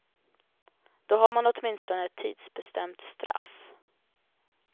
Då har man åtminstone ett tidsbestämt straff.